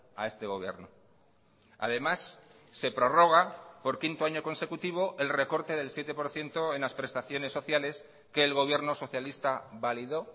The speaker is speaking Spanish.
a este gobierno además se prorroga por quinto año consecutivo el recorte del siete por ciento en las prestaciones sociales que el gobierno socialista validó